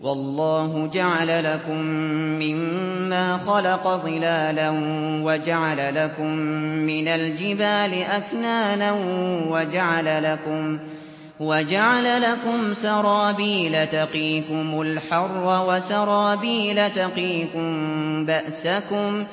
وَاللَّهُ جَعَلَ لَكُم مِّمَّا خَلَقَ ظِلَالًا وَجَعَلَ لَكُم مِّنَ الْجِبَالِ أَكْنَانًا وَجَعَلَ لَكُمْ سَرَابِيلَ تَقِيكُمُ الْحَرَّ وَسَرَابِيلَ تَقِيكُم بَأْسَكُمْ ۚ